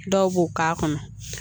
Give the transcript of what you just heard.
Dɔw b'o k'a kɔnɔ